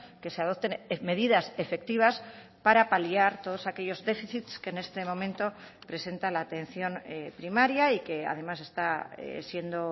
que se adopten medidas efectivas para paliar todos aquellos déficits que en este momento presenta la atención primaria y que además está siendo